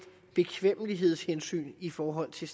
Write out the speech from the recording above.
bekvemmelighedshensyn i forhold til